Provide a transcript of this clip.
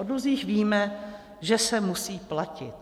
O dluzích víme, že se musí platit.